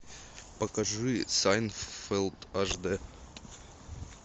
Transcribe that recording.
покажи сайнфелд аш дэ